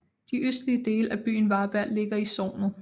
De østlige dele af byen Varberg ligger i sognet